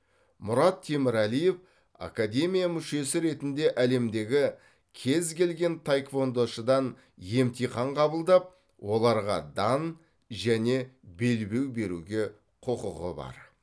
мұрат темірәлиев академия мүшесі ретінде әлемдегі кез келген таеквондошыдан емтихан қабылдап оларға дан және белбеу беруге құқығы бар